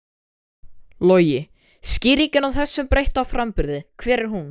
Logi: Skýringin á þessum breytta framburði, hver er hún?